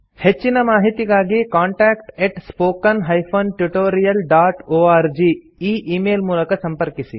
ಹೆಚ್ಚಿನ ಮಾಹಿತಿಗಾಗಿ contact spoken tutorialorg ಈ ಈ ಮೇಲ್ ಮೂಲಕ ಸಂಪರ್ಕಿಸಿ